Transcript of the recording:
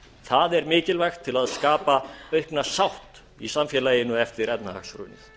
það er mikilvægt til að skapa aukna sátt í samfélaginu eftir efnahagshrun